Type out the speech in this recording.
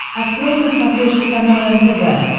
открой на смотрешке канал нтв